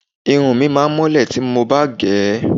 Irun mi máá mọ́lẹ̀ tí mo bá gẹ̀ ẹ́